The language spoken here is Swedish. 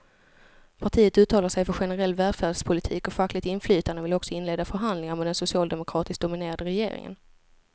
Partiet uttalar sig för generell välfärdspolitik och fackligt inflytande och vill också inleda förhandlingar med den socialdemokratiskt dominerade regeringen.